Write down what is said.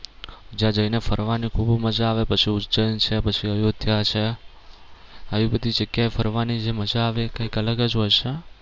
જ્યાં જઈ ને ફરવાની ખૂબ મજા આવે પછી ઉજ્જૈન છે પછી અયોધ્યા છે આવી બધી જગ્યા એ ફરવાની જે મજા આવે એ કઈક અલગ જ હોય છે